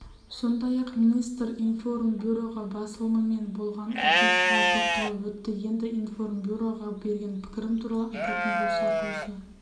сондай-ақ министр информбюро басылымымен болған оқиғаға тоқталып өтті енді информбюроға берген пікірім туралы айтатын болсақ осы